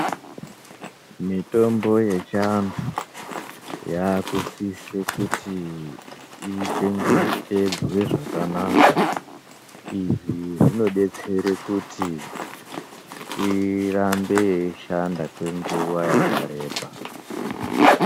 Mitombo yechiantu yakusise kuti ichengetedzwe zvakanaka. Izvi zvinobetsere kuti irambe yeishanda kwenguva yakareba.